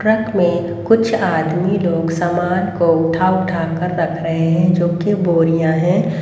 Truck में कुछ आदमी लोग सामान को उठा उठा कर रख रहे हैं जो कि बोरियां हैं।